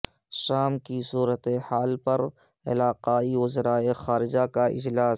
شام کی صورتحال پر علاقائی وزرائے خارجہ کا اجلاس